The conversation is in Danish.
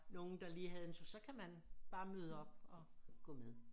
Nogen der lige havde en tur så kan man bare møde op og gå med